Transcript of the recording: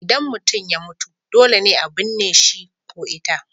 Idan mutum ya mutu dole ne a binne shi ko ita.